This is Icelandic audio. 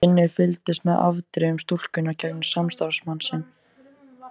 Finnur fylgdist með afdrifum stúlkunnar gegnum samstarfsmann sinn.